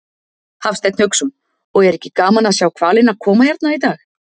Hafsteinn Hauksson: Og er ekki gaman að sjá hvalina koma hérna í dag?